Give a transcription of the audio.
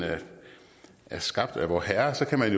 er skabt af vorherre så kan man